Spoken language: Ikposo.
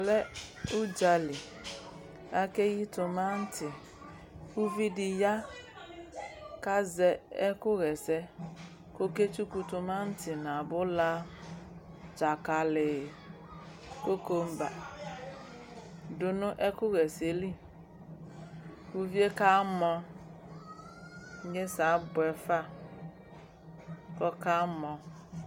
Ɛmɛ lɛ ʋdza li Akeyi tʋmanti Uvi dɩ ya kʋ azɛ ɛkʋɣa ɛsɛ kʋ ɔketsuku tʋmanti nʋ abʋla, dzakalɩ, kokomba dʋ nʋ ɛkʋɣa ɛsɛ yɛ li Uvi yɛ kamɔ Inyesɛ abʋɛ fa kʋ ɔkamɔ